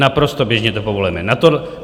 Naprosto běžně to povolujeme.